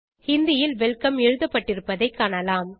ஹிந்தி ல் வெல்கம் எழுதப்பட்டிருப்பதைக் காணலாம்